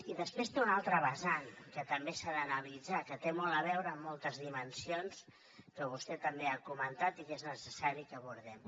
i després té una altra vessant que també s’ha d’analitzar que té molt a veure amb moltes dimensions que vostè també ha comentat i que és necessari que abordem